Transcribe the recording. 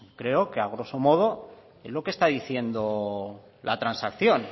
creo que a grosso modo es lo que está diciendo la transacción